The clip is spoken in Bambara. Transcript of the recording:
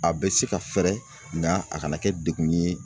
A bɛ se ka fɛɛrɛ nga a kana kɛ degun ye